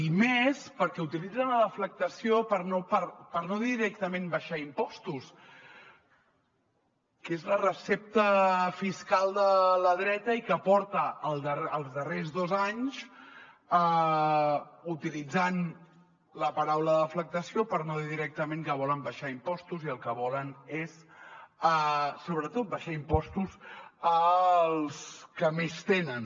i més perquè utilitzen la deflactació per no dir directament abaixar impostos que és la recepta fiscal de la dreta i que porta els darrers dos anys utilitzant la paraula deflactació per no dir directament que volen abaixar impostos i el que volen és sobretot abaixar impostos als que més tenen